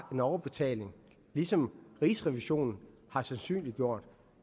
en overbetaling ligesom rigsrevisionen har sandsynliggjort